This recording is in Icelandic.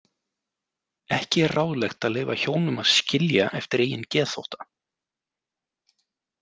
Ekki er ráðlegt að leyfa hjónum að skilja eftir eigin geðþótta.